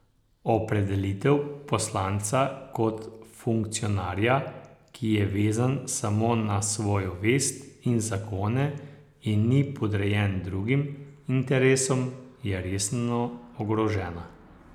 Opredelitev poslanca kot funkcionarja, ki je vezan samo na svojo vest in zakone in ni podrejen drugim interesom, je resno ogrožena.